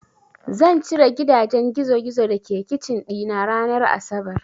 Zan cire gidajen gizogizo da ke kicin ɗina ranar asabar.